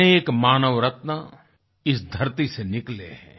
अनेक मानव रत्न इस धरती से निकले हैं